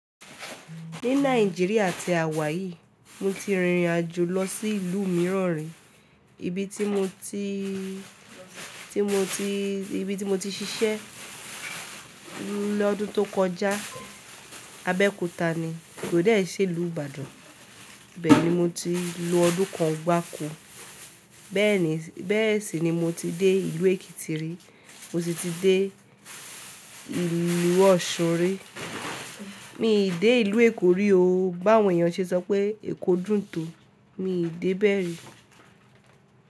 Ní Nàìjíríà ti àwa yìí, mo ti rìnrìn àjò lọ sí ìlú mìíràn rí. Ibi tí mo ti, tí mo ti, ibi tí mo ti ṣiṣẹ́ lọ́dún tó kọjá, Abẹ́òkúta ni, kò dẹ̀ n ṣe ìlú Ìbàdàn. Bẹ́ẹ̀ni mo ti lo ọdún kan gbá kọ́. Bẹ́ẹ̀ ni, bẹ́ẹ̀ sì ni mo ti dé ìlú Èkìtì rí, mo sì ti dé ìlú Ọ̀ṣun ri. Mi ì dé ìlú Èkó rí o. Báwo èèyàn ṣe sọ pé Èkó dùn tò, mi ì dé bẹ́ẹ̀ rí.